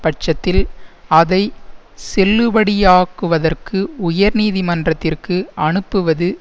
பட்சத்தில் அதை செல்லுபடியாக்குவதற்கு உயர் நீதிமன்றத்திற்கு அனுப்புவது